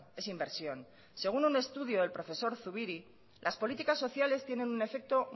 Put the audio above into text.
es inversión según un estudio del profesor zubiri las políticas sociales tienen un efecto